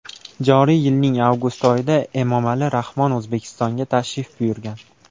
Joriy yilning avgust oyida Emomali Rahmon O‘zbekistonga tashrif buyurgan.